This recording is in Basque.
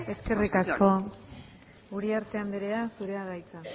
eskerrik asko celaá andrea eskerrik asko uriarte andrea zurea da hitza